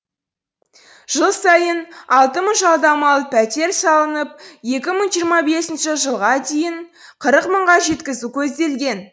жыл сайын алты мың жалдамалы пәтер салынып екі мың жиырма бесінші жылға дейін қырық мыңға жеткізу көзделген